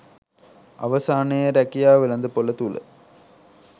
අවසානයේ රැකියා වෙළදපොල තුල